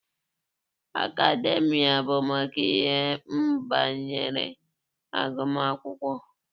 Akademịa bụ maka ihe banyere agụmakwụkwọ.